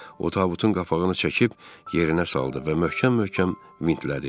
O, tabutun qapağını çəkib yerinə saldı və möhkəm-möhkəm vintlədi.